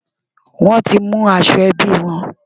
Wọ́n ti mú aṣọ ẹbí wọn.